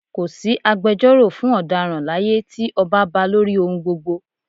Ko sí agbejọ́rò fún ọ̀daràn láyé tí ọba ba lórí ohun gbogbo